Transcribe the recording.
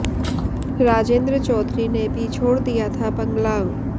राजेंद्र चौधरी ने भी छोड़ दिया था बंगला